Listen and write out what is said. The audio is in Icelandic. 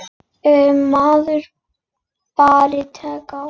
Ef maður bara tekur á.